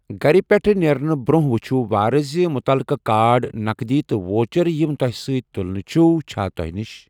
گھرِ پیٹھہٕ نیرنہٕ برونٛہہ وُچھِۄ وارٕ زِ مُتعلقہٕ كارڈ ، نقدی تہٕ ووچر یِم توہہِ سۭتۍ تُلٕنہِ چھِو چھا توہہِ نِش ۔